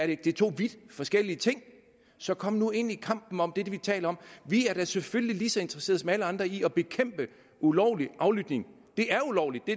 ikke det er to vidt forskellige ting så kom nu ind i kampen om det vi taler om vi er da selvfølgelig lige så interesseret som alle andre i at bekæmpe ulovlig aflytning det er ulovligt det